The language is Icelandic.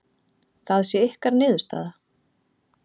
Það sé ykkar niðurstaða?